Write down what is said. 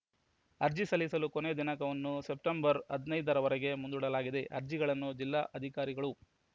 ಅರ್ಜಿ ಸಲ್ಲಿಸಲು ಕೊನೆಯ ದಿನಾಂಕವನ್ನು ಸೆಪ್ಟೆಂಬರ್‌ ಹದಿನೈದರವರೆಗೆ ಮುಂದೂಡಲಾಗಿದೆ ಅರ್ಜಿಗಳನ್ನು ಜಿಲ್ಲಾ ಅಧಿಕಾರಿಗಳು